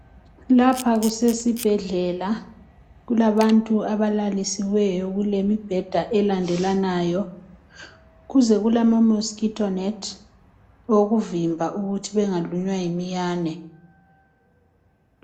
lapha kusesibhedlela kulabantu abalalisiweyo lemibheda elandelanayo duze kulama mosquito net okuvimba ukuthi bengalunywa yimiyane